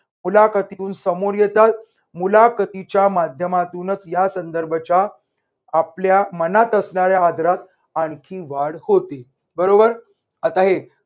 मुलाखतीतून समोर येतात मुलाखतीच्या माध्यमातूनच यासंदर्भात च्या आपल्या मनात असणाऱ्या आदरात आणखी वाढत होती. बरोबर. आता हे